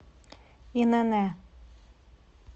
инн